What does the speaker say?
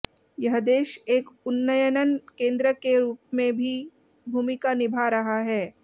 यह देश एक उन्नयनन केंद्र के रूप में भी भूमिका निभा रहा है